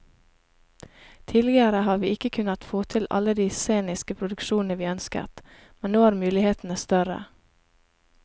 Tidligere har vi ikke kunnet få til alle de sceniske produksjonene vi ønsket, men nå er mulighetene større.